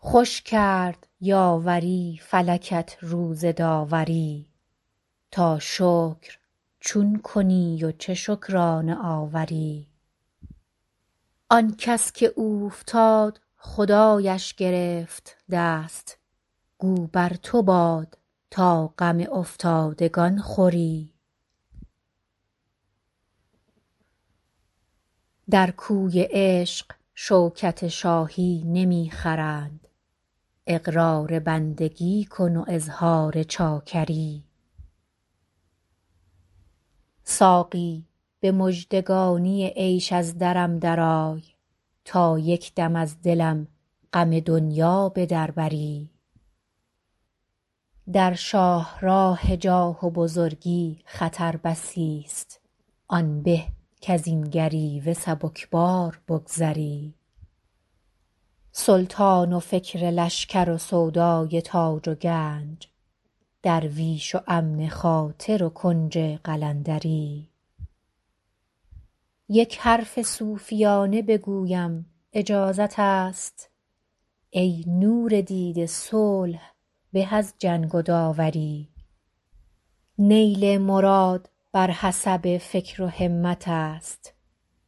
خوش کرد یاوری فلکت روز داوری تا شکر چون کنی و چه شکرانه آوری آن کس که اوفتاد خدایش گرفت دست گو بر تو باد تا غم افتادگان خوری در کوی عشق شوکت شاهی نمی خرند اقرار بندگی کن و اظهار چاکری ساقی به مژدگانی عیش از درم درآی تا یک دم از دلم غم دنیا به در بری در شاه راه جاه و بزرگی خطر بسی ست آن به کز این گریوه سبک بار بگذری سلطان و فکر لشکر و سودای تاج و گنج درویش و امن خاطر و کنج قلندری یک حرف صوفیانه بگویم اجازت است ای نور دیده صلح به از جنگ و داوری نیل مراد بر حسب فکر و همت است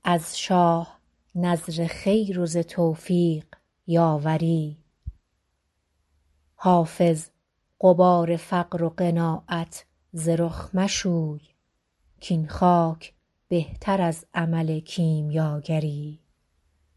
از شاه نذر خیر و ز توفیق یاوری حافظ غبار فقر و قناعت ز رخ مشوی کاین خاک بهتر از عمل کیمیاگری